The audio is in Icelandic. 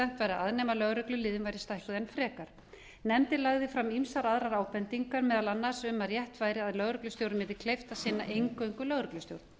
að nema ef lögregluliðin væru stækkuð enn frekar nefndin lagði fram ýmsar aðrar ábendingar meðal annars um að rétt væri að lögreglustjórum væri kleift að sinna eingöngu lögreglustjórn